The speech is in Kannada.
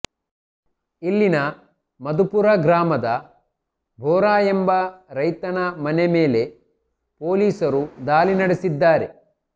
ಇಲ್ಲಿನ ಮಧುಪುರ ಗ್ರಾಮದ ಬೋರಾ ಎಂಬ ರೈತನ ಮನೆ ಮೇಲೆ ಪೊಲೀಸರು ಇಂದು ದಾಳಿ ನಡೆಸಿದ್ದಾರೆ